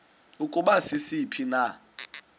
ukuba sisiphi na